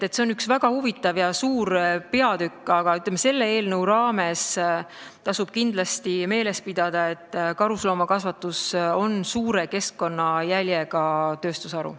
See on üks väga huvitav ja suur peatükk, aga selle eelnõu raames tasub kindlasti meeles pidada, et karusloomakasvatus on suure keskkonnajäljega tööstusharu.